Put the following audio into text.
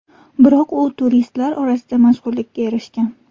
Biroq u turistlar orasida mashhurlikka erishgan.